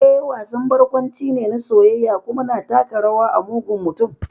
Eh, wasan barkwanci ne na soyayya, kuma na taka rawa a mugun mutum.